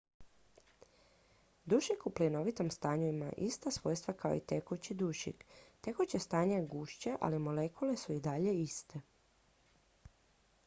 dušik u plinovitom stanju ima ista svojstva kao i tekući dušik tekuće stanje je gušće ali molekule su i dalje iste